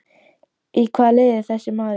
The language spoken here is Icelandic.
Í hvaða liði er þessi maður?